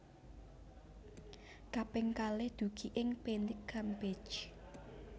Kaping kalih dugi ing Pante Campeche